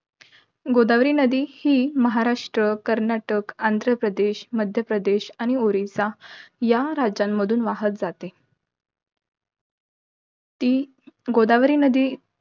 गोदावरी नदी ही, महाराष्ट्र, कर्नाटक, आंध्रप्रदेश, मध्यप्रदेश आणि ओरिसा या राज्यांमधून वाहत जाते. ती गोदावरी नदी,